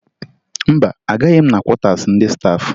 Mba, agaghị m na kwọtaasi ndị staafụ